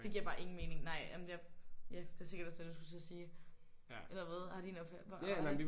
Det giver bare ingen mening nej jamen jeg ja det var sikkert også det du skulle til at sige. Eller hvad? Har din opfattelse? Hvordan?